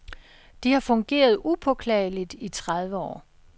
De har fungeret upåklageligt i tredive år.